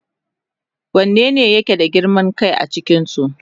Wanene yake da girman kai a cikinsu?